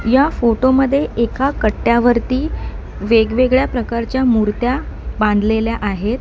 या फोटोमध्ये एका कट्ट्यावरती वेगवेगळ्या प्रकारच्या मुर्त्या बांधलेल्या आहेत.